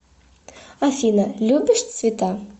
афина любишь цвета